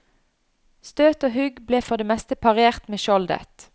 Støt og hugg ble for det meste parert med skjoldet.